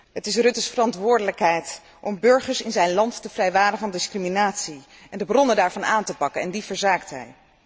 Het is Rutte's verantwoordelijkheid om de burgers in zijn land te vrijwaren van discriminatie en de bronnen daarvan aan te pakken, en die verzaakt hij.